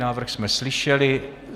Návrh jsme slyšeli.